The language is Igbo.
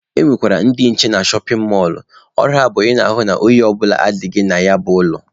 E nwekwara ndị nche na shọpin mọlụ, ọrụ ha bụ ịhụ na ohi ọ bụla adịghị na ya bụ ụlọ.